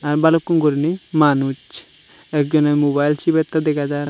ar balukun gurine manuch ek jone mobile sibettey dega jaar.